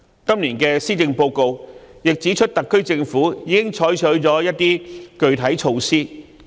今年的施政報告亦指出特區政府已採取一些具體措施。